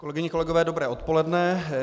Kolegyně, kolegové, dobré odpoledne.